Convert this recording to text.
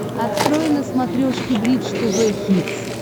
открой на смотрешке бридж тв хитс